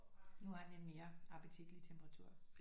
Nu har den en mere appetitlig temperatur